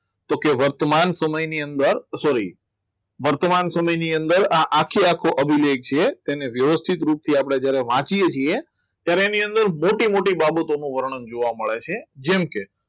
તો કે વર્તમાન સમયની અંદર sorry વર્તમાન સમયની અંદર આ આખેઆખેલો અભિલેખ છે તેને વ્યવસ્થિત રીતે આપણે જરાક વાંચીએ છીએ ત્યારે તેની અંદર મોટી મોટી બાબતોનું વર્ણન જોવા મળે છે જેમકે